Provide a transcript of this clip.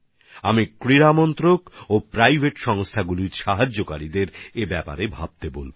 আমি ক্রীড়ামন্ত্রক আর বেসরকারি সংস্থানের সহযোগীদের এই বিষয়ে চিন্তা করার জন্য অনুরোধ জানাবো